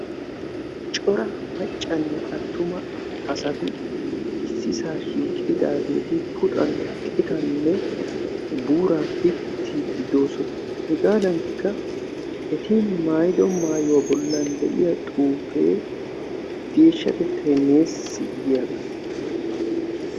Aaaabbb bbbb cccc dddd sss jjj